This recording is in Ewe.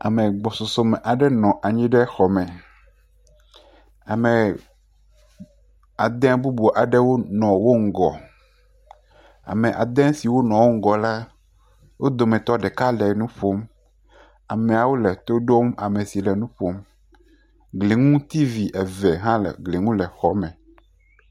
Ame gbɔsɔsɔ aɖe nɔ anyi ɖe xɔ me. Ame ade bubu aɖewo nɔ wo ŋgɔ. Ame ade siwo nɔ wo ŋgɔ la, wo dometɔ ɖeka le nu ƒom. Ameawo le to ɖom ame si le nu ƒom. Gliŋu T.V eve hã le gli ŋu le xɔa me.